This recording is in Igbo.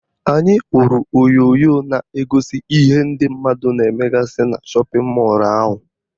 Anyị hụrụ onyonyo na-egosi ihe ndị mmadụ na-emegasị na shọpịn mọlụ ahụ